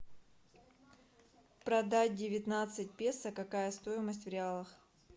продать девятнадцать песо какая стоимость в реалах